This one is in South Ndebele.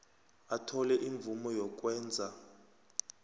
athole imvumo yokwenza